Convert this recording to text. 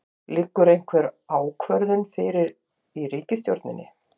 Þorbjörn: Liggur einhver ákvörðun fyrir í ríkisstjórninni?